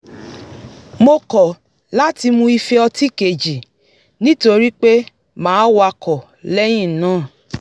mo kọ̀ láti mu ife ọtí kejì nítorí pé màá wakọ̀ lé̩yìn náà